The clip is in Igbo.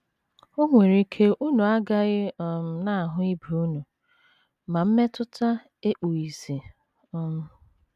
O nwere ike unu agaghị um na - ahụ ibe unu, ma mmetụta ekpughị ìsì. um ”